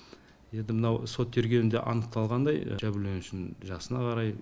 енді мынау сот тергеуінде анықталғандай жәбірленушінің жасына қарай